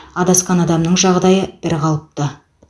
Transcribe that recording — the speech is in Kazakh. адасқан адамның жағдайы бірқалыпты